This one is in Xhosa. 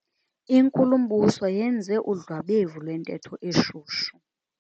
Inkulumbuso yenze udlwabevu lwentetho eshushu.